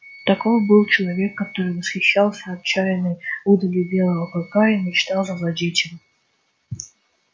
таков был человек который восхищался отчаянной удалью белого клыка и мечтал завладеть им